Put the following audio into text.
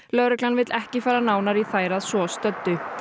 lögreglan vill ekki fara nánar í þær að svo stöddu